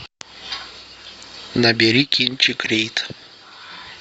набери кинчик рид